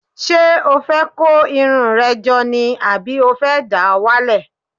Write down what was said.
Ṣé o fẹ́ kó irun rẹ jọ ni àbí o fẹ́ dà á wálẹ̀?